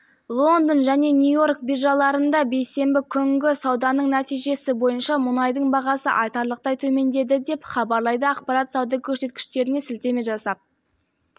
лондон және нью-йорк биржаларында бейсенбі күнгі сауданың нәтижесі бойынша мұнайдың бағасы айтарлықтай төмендеді деп хабарлайды ақпарат сауда көрсеткіштеріне сілтеме жасап